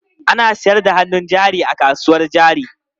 Ana sayar da hannun jari a kasuwar jari.